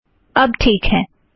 अब ठीक है